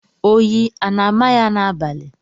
Oyi a na-ámà ya n'abalị?